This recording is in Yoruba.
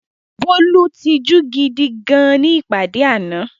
Bólú tijú gidi gan-an ní ìpàdé náà.